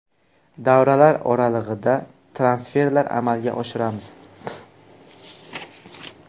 Davralar oralig‘ida transferlar amalga oshiramiz.